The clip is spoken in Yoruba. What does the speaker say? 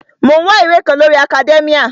Mò ń wá ìwé kan lórii akadẹ́míà